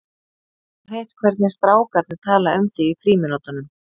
Ég hef heyrt hvernig strák- arnir tala um þig í frímínútunum.